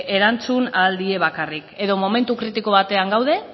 erantzun ahal die bakarrik edo momentu kritiko batean gaude